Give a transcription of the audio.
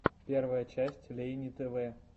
первая часть лейни тв